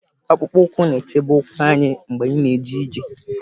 Akpụkpọ ụkwụ na-echebe ụkwụ anyị mgbe anyị na-eje ije.